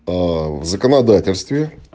аа в законодательстве